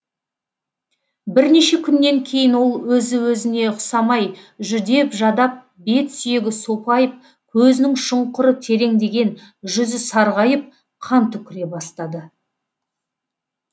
бірнеше күннен кейін ол өзі өзіне ұқсамай жүдеп жадап бет сүйегі сопайып көзінің шұңқыры тереңдеген жүзі сарғайып қан түкіре бастады